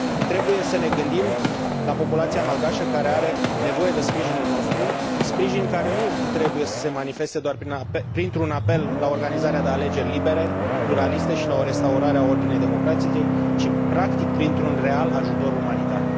Trebuie să ne gândim la populația malgașă, care are nevoie de sprijinul nostru, sprijin care nu trebuie să se manifeste doar printr un apel la organizarea de alegeri libere, pluraliste și la o restaurare a ordinii democratice, ci, practic, printr un real ajutor umanitar.